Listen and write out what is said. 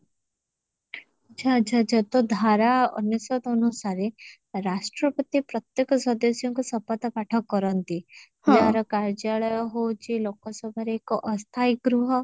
ଆଚ୍ଛା ଆଚ୍ଛା ଆଚ୍ଛା ତ ଧାରା ଅନୁସାତ ଅନୁସାରେ ରାଷ୍ଟ୍ରପତି ପ୍ରତ୍ୟକ ସଦସ୍ୟଙ୍କୁ ଶପଥ ପାଠ କରନ୍ତି ଯେ ଆର କାର୍ଯ୍ୟାଳୟ ହଉଛି ଲୋକସଭାରେ ଏକ ଅସ୍ଥାଇ ଗୃହ